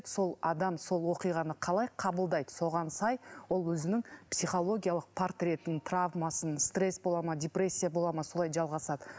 сол адам сол оқиғаны қалай қабылдайды соған сай ол өзінің психологиялық портретін травмасын стресс болады ма депрессия болады ма солай жалғасады